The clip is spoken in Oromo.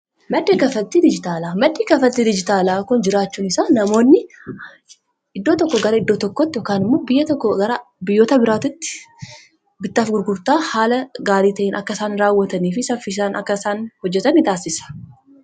maddi kafatti dijitaalaa kun jiraachuun isaa namoonni iddoo tokko gara iddoo tokkoti yokan immoo biyya gara biyyoota biraatti bittaaf gurgurtaa haala gaarii ta'iin akkasaan raawwatanii fi saffisaan akkasaan hojjatan ni taasisa